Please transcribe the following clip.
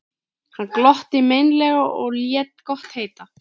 Hann glotti meinlega og lét gott heita.